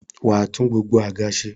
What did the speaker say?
wà á tún gbogbo àga se.